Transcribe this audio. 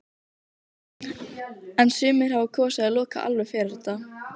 En sumir hafa kosið að loka alveg fyrir þetta.